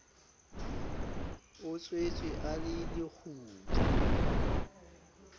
o tswetswe a le lekgutla